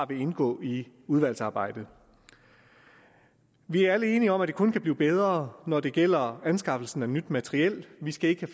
vil indgå i udvalgsarbejdet vi er alle enige om at det kun kan blive bedre når det gælder anskaffelse af nyt materiel vi skal ikke